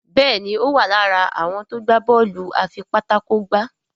Béèni o wá lára àwọn tó gbà Bọ́ọ̀lù afipátákó gbá.